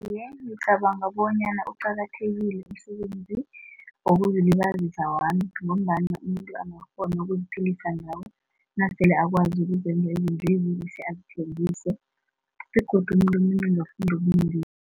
Iye, ngicabanga bonyana uqakathekile umsebenzi wokuzilibazisa wami, ngombana umuntu angarhona ukuziphilisa ngawo nasele akwazi ukuzenzela izinto ezihle azithengise begodu umuntu omunye angafunda